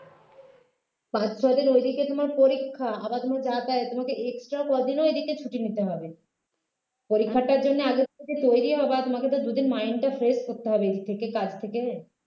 পাঁচ ছয় দিন ঐদিকে তোমার পরীক্ষা আবার ধরো যাতায়াত তোমাকে extra কদিনও এদিকে ছুটি নিতে হবে পরীক্ষাটার জন্য আগে থেকে তৈরি হবেতোমাকে তো দুই দিন mind টা fresh করতে হবে এর থেকে কাজ থেকে